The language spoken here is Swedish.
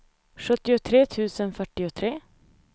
sjuttiotre tusen fyrtiotre